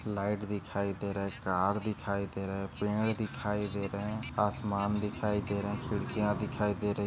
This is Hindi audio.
लाइट दिखाई दे रहा है कार दिखाई दे रहा है पेड़ दिखाई दे रहे है आसमान दिखाई दे रहा है खिड़की दिखाई दे रही--